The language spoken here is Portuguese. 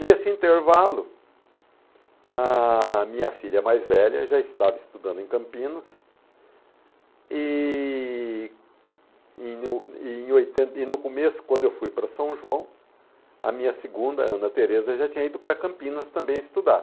Nesse intervalo, a minha filha mais velha já estava estudando em Campinas, e e no e em oitenta, e no começo, quando eu fui para São João, a minha segunda, Ana Tereza, já tinha ido para Campinas também estudar.